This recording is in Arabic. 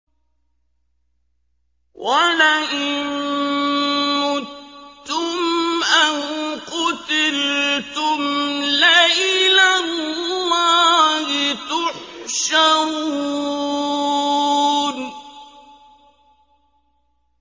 وَلَئِن مُّتُّمْ أَوْ قُتِلْتُمْ لَإِلَى اللَّهِ تُحْشَرُونَ